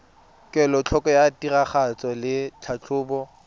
kelotlhoko ya tiragatso le tlhatlhobo